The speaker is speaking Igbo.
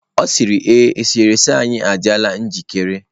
Ọ sịrị ee, eserese anyị adịla njikere.